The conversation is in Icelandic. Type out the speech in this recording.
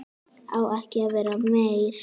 Á ekki að vera meir.